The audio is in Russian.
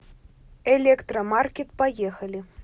электромаркет поехали